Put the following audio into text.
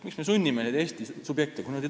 Miks me sunnime neid Eesti subjekte?